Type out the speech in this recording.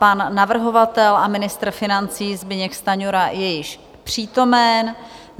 Pan navrhovatel a ministr financí Zbyněk Stanjura je již přítomen.